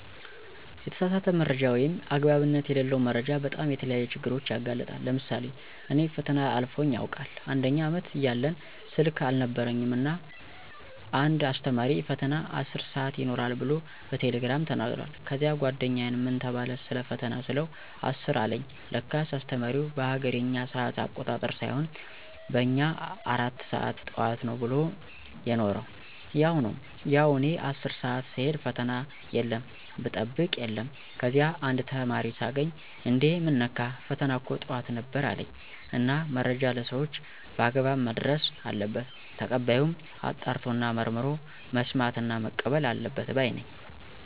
የተሳሳተ መረጃ ወይም አግባብነት የለለው መረጃ በጣም ለተለያዩ ችግሮች ያጋልጣል። ለምሳሌ እኔ ፈተና አልፎኝ ያውቃል፦ አንደኛ አመት እያለን ስልክ አልነበረኝም እና እና አንድ አስተማሪ ፈተና 10 ሰአት ይኖራል ብሎ በቴሌግራም ተናግሯል። ከዚያ ጓደኛየን ምን ተባለ ሰለፈተና ስለው 10 አለኝ ለካስ አስተማሪው በሀገሬኛ ሰአት አቆጣጠር ሳይሆን በእኛ 4 ሰአት ጠዋት ነው ብሎ የነሮ። ያው እኔ 10 ሰአት ስሄድ ፈተና የለም ብጠብቅ የለም። ከዚያ አንድ ተማሪ ሳገኝ እንዴ ምን ነካህ ፈተና እኮ ጠዋት ነበር አለኝ። እና መረጃ ለሰወች በአግባብ መድረስ አለበት። ተቀባዩም አጣርቶና መርምሮ መስማትና መቀበል አለበት ባይ ነኝ።